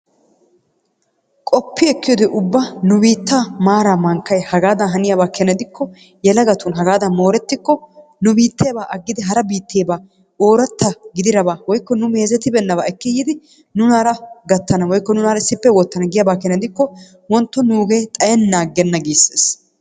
Qoppi ekkiyaaba gidikko nu biittaan maaray mankkay hagaadan haniyaaba gidikko yelagattu hagaadan moorettiko nu biitteebaa aagidi hara biitteebaa oraatta gididaba woykko nu mezettibenaabaa ekki yiidi nuunara gattana woykko nunaara issippe woottana giyaaba keena gidikko wontto nugee xayennan agenna giisees.